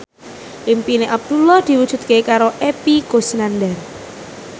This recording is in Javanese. impine Abdullah diwujudke karo Epy Kusnandar